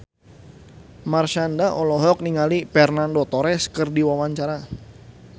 Marshanda olohok ningali Fernando Torres keur diwawancara